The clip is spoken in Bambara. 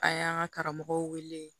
A y'an ka karamɔgɔw wele